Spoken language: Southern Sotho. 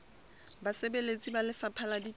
basebeletsi ba lefapha la ditaba